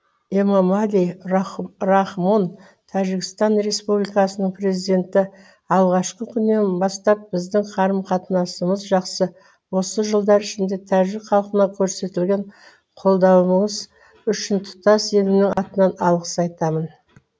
эмомали рахмон тәжікстан республикасының президенті алғашқы күннен бастап біздің қарым қатынасымыз жақсы осы жылдар ішінде тәжік халқына көрсеткен қолдауыңыз үшін тұтас елімнің атынан алғыс айтамын